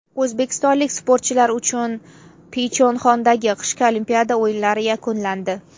O‘zbekistonlik sportchilar uchun Pxyonchxandagi qishki Olimpiada o‘yinlari yakunlandi.